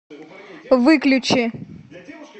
выключи